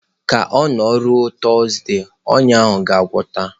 Ka ọ na-erule Tuuzde, ọnya ahụ ga-agwọta.